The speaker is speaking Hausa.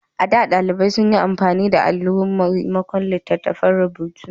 A da, ɗalibai sun yi amfani da alo maimakon littattafan rubutu.